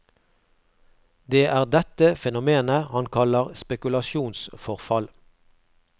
Det er dette fenomenet han kaller spekulasjonsforfall.